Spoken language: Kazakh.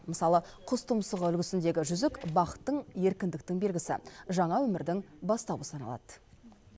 мысалы құс тұмсығы үлгісіндегі жүзік бақыттың еркіндіктің белгісі жаңа өмірдің бастауы саналады